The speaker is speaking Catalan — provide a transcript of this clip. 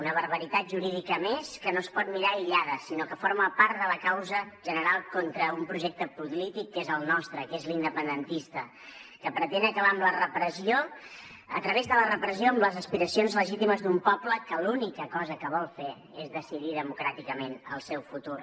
una barbaritat jurídica més que no es pot mirar aïllada sinó que forma part de la causa general contra un projecte polític que és el nostre que és l’independentista que pretén acabar a través de la repressió amb les aspiracions legítimes d’un poble que l’única cosa que vol fer és decidir democràticament el seu futur